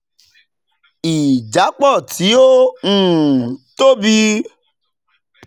ìjápọ̀ tí ó ó um tóbi